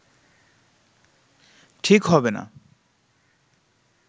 ঠিক হবে না